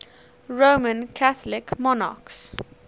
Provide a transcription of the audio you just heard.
roman catholic monarchs